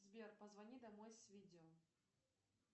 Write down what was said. сбер позвони домой с видео